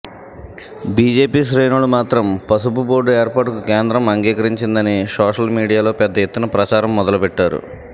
BJP శ్రేణులు మాత్రం పసుపు బోర్డు ఏర్పాటుకు కేంద్రం అంగీకరించిందని సోషల్ మీడియాలో పెద్దఎత్తున ప్రచారం మొదలుపెట్టారు